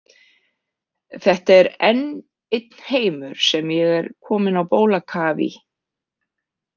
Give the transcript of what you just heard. Þetta er enn einn heimur sem ég er komin á bólakaf í.